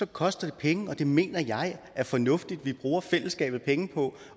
det koster det penge og det mener jeg er fornuftigt at vi bruger fællesskabets penge på